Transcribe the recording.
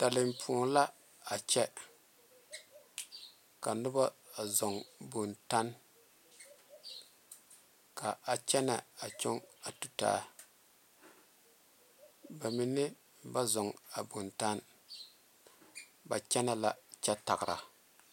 tenpoŋe la a kyɛ ka noba zɔɔ bontage ka kyɛne a tu ta ba mine ba zɔɔ a bontage ba kyɛne la kyɛ tagera.